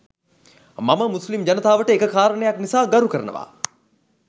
මම මුස්ලිම් ජනතාවට එක කාරණයක් නිසා ගරු කරනවා.